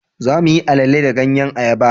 za mu yi alele da ganyen ayaba